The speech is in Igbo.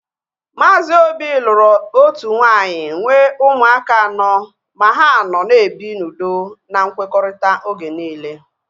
Maazi Obi lụrụ otu nwaanyị nwee ụmụaka anọ ma ha nọ na-ebi n'udo na nkwekọrịta oge niile